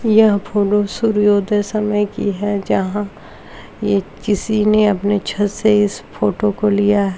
यह फॉलो सूर्योदय समे की है जहाँ ये किसी ने अपने छत से इस फोटो को लिया --